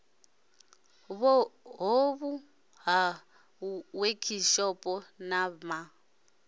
ṱhoho ya wekhishopho na ma